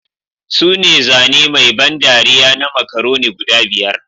Sune zane mai ban dariya na Macaroni guda biyar